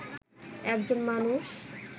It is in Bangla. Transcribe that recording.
একজন মানুষ